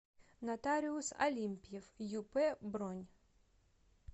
нотариус алимпьев юп бронь